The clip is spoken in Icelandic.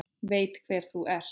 Veit hver þú ert.